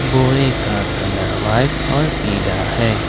बोरे का colour white और पिला हैं।